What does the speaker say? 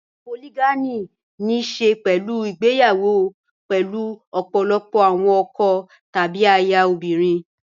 Polygyny ní í ṣe pẹ̀lú ìgbéyàwó pẹ̀lú ọ̀pọ̀lọpọ̀ àwọn ọkọ tàbí aya obìnrin.